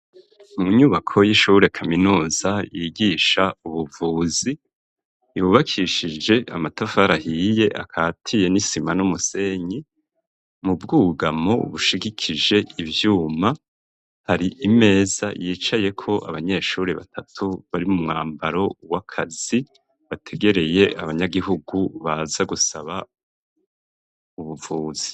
Mu nyubako y'ishure kaminuza yigisha ubuvuzi yubakishije amatafari ahiye akatiye n'isima n'umusenyi mu bwugamo bushigikije ivyuma hari imeza yicayeko abanyeshuri batatu bari mu mwambaro w'akazi bategereye abanyagihugu baza gusaba ubuvuzi.